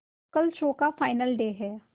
कल शो का final day है